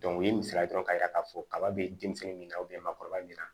u ye misaliya dɔn k'a yira k'a fɔ kaba bɛ denmisɛnnin min na maakɔrɔba min na